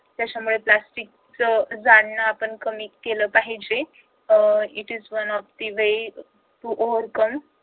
त्याच्यामुळे plastic जाळणे आपण कमीकेलं पाहिजे अह it is one of the way to overcome